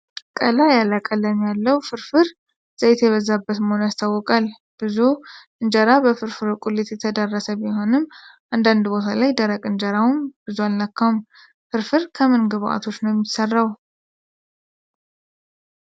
ቀላ ያለ ቀለም ያለው ፍርፍር ዘይት የበዛበት መሆኑን ያስታውቃል። ብዙው እንጀራ በፍርፍሩ ቁሌት የተዳረሰ ቢሆንም አንዳንድ ቦታ ላይ ደረቅ እንጀራው ብዙም አልነካውም። ፍርፍር ከምን ከምን ግብአቶች ነው የሚሰራው?